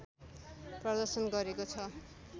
प्रदर्शन गरेको छ